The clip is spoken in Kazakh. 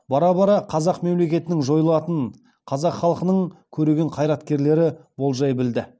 бара бара қазақ мемлекетінің жойылатынын қазақ халқының көреген қайраткерлері болжай білді